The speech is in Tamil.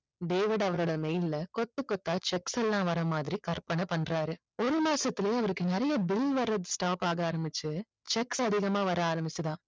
டேவிட் அவரோட mail ல கொத்து கொத்தா cheque bill ஆ வர மாறி கற்பனை பண்றாரு ஒரு மாசத்துலயே அவருக்கு நிறைய bill வரது stop ஆக ஆரம்பிச்சு cheques அதிகமா வர ஆரம்பிச்சுதாம்